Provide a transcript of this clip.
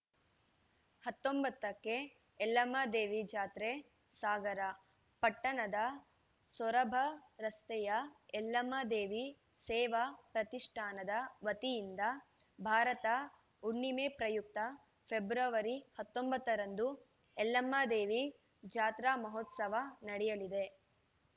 ಹತ್ತೊಂಬತ್ತಕ್ಕೆ ಯಲ್ಲಮ್ಮ ದೇವಿ ಜಾತ್ರೆ ಸಾಗರ ಪಟ್ಟಣದ ಸೊರಬ ರಸ್ತೆಯ ಯಲ್ಲಮ್ಮ ದೇವಿ ಸೇವಾ ಪ್ರತಿಷ್ಠಾನದ ವತಿಯಿಂದ ಭಾರತ ಹುಣ್ಣಿಮೆ ಪ್ರಯುಕ್ತ ಫೆಬ್ರವರಿ ಹತ್ತೊಂಬತ್ತ ರಂದು ಯಲ್ಲಮ್ಮ ದೇವಿ ಜಾತ್ರಾ ಮಹೋತ್ಸವ ನಡೆಯಲಿದೆ